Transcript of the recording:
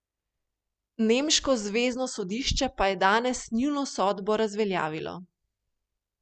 Nemško zvezno sodišče pa je danes njuno sodbo razveljavilo.